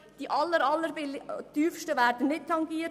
Die allertieftsten sind nicht betroffen.